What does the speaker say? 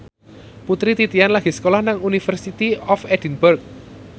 Putri Titian lagi sekolah nang University of Edinburgh